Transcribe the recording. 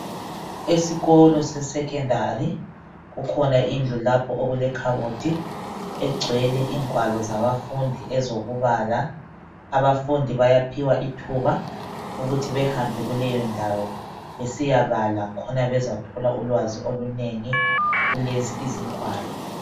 Esikolo sesecondary kukhona lapho indlu okulekhabothi egcwele ingwalo zabafundi ezokubala abafundi bayaphiwa ithuba ukuthi behambe kuleyo ndawo besiyabala khona bezathola ulwazi olunengi kulezi izigwalo